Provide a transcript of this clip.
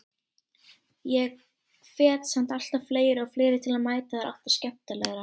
Ég hvet samt alltaf fleiri og fleiri til að mæta það er alltaf skemmtilegra.